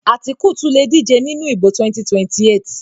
Àtíkù tún lè díje nínú ìdìbò 2028